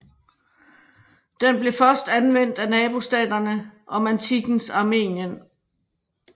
Den blev først anvendt af nabostaterne om antikkens Armenien